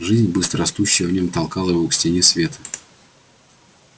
жизнь быстро растущая в нём толкала его к стене свет